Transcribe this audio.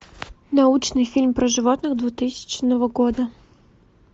научный фильм про животных двухтысячного года